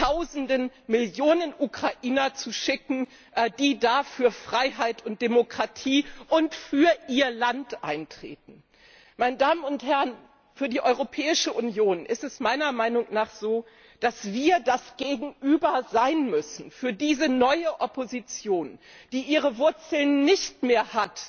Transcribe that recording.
Tausende, Millionen Ukrainer zu schicken, die da für Freiheit und Demokratie und für ihr Land eintreten. Meine Damen und Herren, für die Europäische Union ist es meiner Meinung nach so, dass wir das Gegenüber sein müssen für diese neue Opposition, die ihre Wurzeln nicht mehr